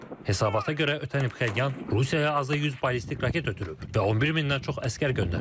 Hesabata görə, ötən il Pxenyan Rusiyaya azı 100 ballistik raket ötürüb və 11 mindən çox əsgər göndərib.